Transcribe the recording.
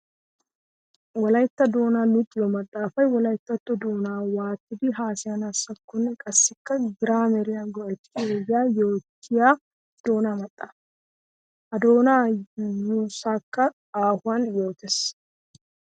Wolaytta doona luxiyo maxafay wolayttatto doona waatidi haasayanakkonne qassikka giraameriya go'ettiyo ogiya yootiya doona maxafa. Ha doona yuussakka aahuwan yootes.